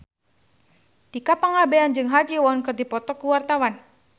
Tika Pangabean jeung Ha Ji Won keur dipoto ku wartawan